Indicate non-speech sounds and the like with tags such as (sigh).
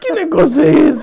(laughs) Que negócio é esse?